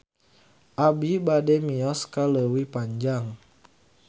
Abi bade mios ka Leuwi Panjang